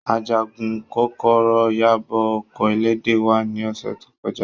Ajagun kokoro yabo oko elede wa ni ose to koja.